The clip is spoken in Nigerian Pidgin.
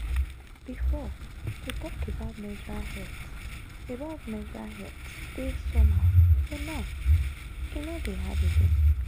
before to talk about menstrual health about menstrual health dey somehow but now e no dey hard again.